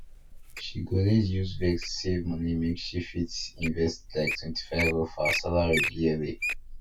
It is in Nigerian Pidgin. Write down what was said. she go need use vex save money make she fit invest like 25 of her salary yearly